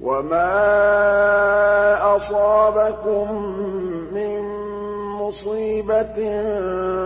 وَمَا أَصَابَكُم مِّن مُّصِيبَةٍ